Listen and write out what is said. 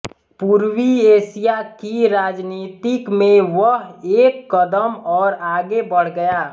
पूर्वी एशिया की राजनीतिक में वह एक कदम और आगे बढ़ गया